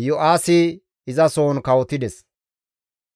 Iyo7aasi izasohon kawotides.